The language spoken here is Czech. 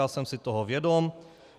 Já jsem si toho vědom.